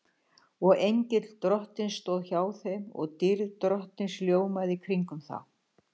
Og engill Drottins stóð hjá þeim og dýrð Drottins ljómaði kringum þá.